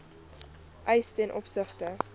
eis ten opsigte